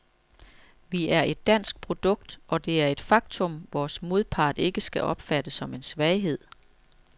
Vi er et dansk produkt, og det er et faktum, vores modpart ikke skal opfatte som en svaghed.